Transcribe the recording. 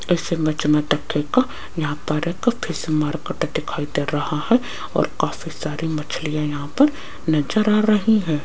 इस इमेज मे को यहां पर एक फिश मार्केट दिखाई दे रहा है और काफी सारी मछलियां यहां पर नज़र आ रही है।